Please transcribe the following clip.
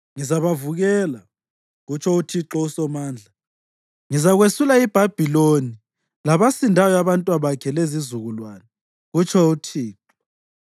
“Ngizabavukela,” kutsho uThixo uSomandla. “Ngizakwesula iBhabhiloni labasindayo abantwabakhe lezizukulwane,” kutsho uThixo.